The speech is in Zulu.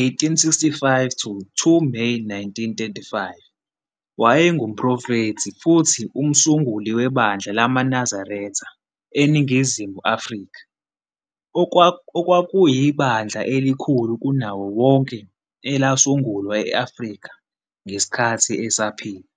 1865 to 2 May 1935, wayengumphrofethi futhi umsunguli webandla lamaNazaretha, eNingizimu Afrika, okwakuyibandla elikhulu kunawo wonke elasungulwa e-Afrika ngesikhathi esaphila.